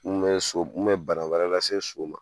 Mun bɛ so mun bɛ bana wɛrɛ lase so ma.